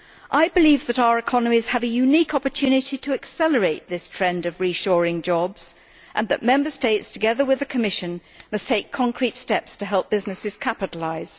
I believe that our economies have a unique opportunity to accelerate this trend of reshoring jobs and that Member States, together with the Commission, must take concrete steps to help businesses capitalise.